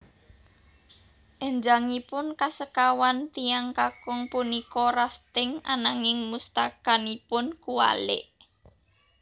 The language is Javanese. Enjangipun kasekawan tiyang kakung punika rafting ananging mustakanipun kuwalik